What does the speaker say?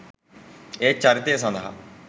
ඒත් චරිතය සඳහා